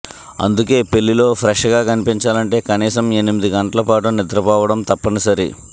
అందుకే పెళ్లిలో ఫ్రెష్గా కనిపించాలంటే కనీసం ఎనిమిది గంటల పాటు నిద్రపోవడం తప్పనిసరి